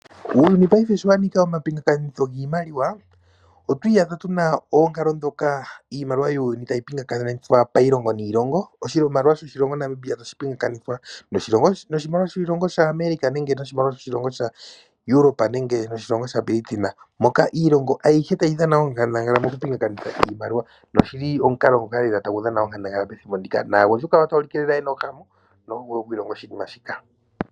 Uuyuni paife sho wa nika omapingakanitho giimaliwa, otwa iyadha tu na oonkalo ndhoka iimaliwa yuuyuni tayi pingakanithwa pailongo niilongo. Oshimaliwa shaNamibia tashi pingakanithwa noshimaliwa shaAmerica nenge noshimaliwa shoshilongo shaEuropa nenge noshilongo shaBritain. Moka iilongo ayihe tayi dhana onkandangala mokupinganitha iimaliwa noshi li omukalo ngoka tagu dhana lela onkandangala methimbo ndika naagundjuka otaya ulike ye na ohamu notaya vulu oku ilonga oshinima shika.